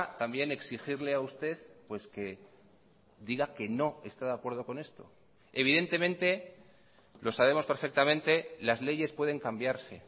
también exigirle a usted pues que diga que no está de acuerdo con esto evidentemente lo sabemos perfectamente las leyes pueden cambiarse